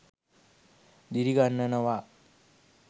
දිරි ගන්වනවා